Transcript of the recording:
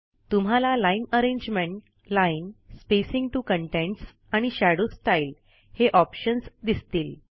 तुम्हाला line arrangement line spacing TO contents shadow style हे options दिसतील